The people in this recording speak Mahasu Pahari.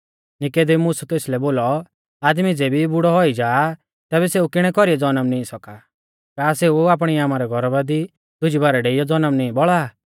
नीकुदेमुसै तेसलै बोलौ आदमी ज़ेबी बुड़ौ औई जाआ तैबै सेऊ किणै कौरीऐ जनम नी सौका का सेऊ आपणी आमारै गौरबा दी दुजी बारै डेईयौ जनम नीं बौल़ा आ